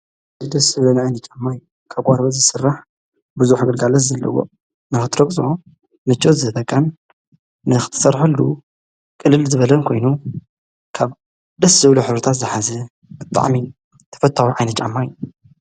ል ደስብለና ኣይኒ ጫማይ ካብ ቛርበ ዝሥራሕ ብዙ ሕገልጋለስ ዘለዎ ምናኅትርቅዞ ንችት ዘተቃን ንኽትሠርሐሉ ቕልል ዝበለን ኮይኑ ካብ ደስዝውለ ኅሩታት ዝኃዝ ብጥዓሚን ተፈታዊ ኣይነጫማይ እዩ።